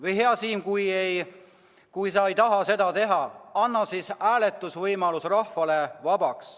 Või, hea Siim, kui sa ei taha seda teha, siis anna oma inimestele hääletus vabaks!